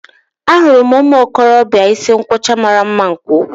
Ahụrụ m ụmụ okorobịa isi nkwọcha mara mma nke ukwuu